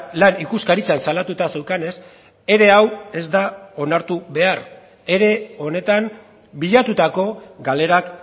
lan ikuskaritzan salatuta zeukanez ere hau ez da onartu behar ere honetan bilatutako galerak